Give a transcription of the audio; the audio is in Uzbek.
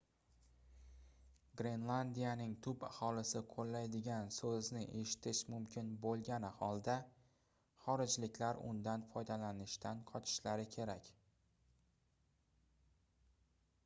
grenlandiyaning tub aholisi qoʻllaydigan soʻzni eshitish mumkin boʻlgani holda xorijliklar undan foydalanishdan qochishlari kerak